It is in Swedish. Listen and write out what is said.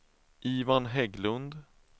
Ivan Hägglund